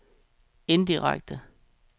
indirekte